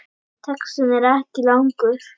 Textinn er ekki langur.